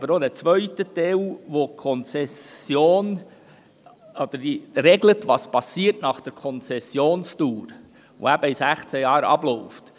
Es gibt aber noch einen zweiten Teil, in welchem geregelt wird, was nach Ablauf der Konzession geschieht, welche eben in 16 Jahren abläuft.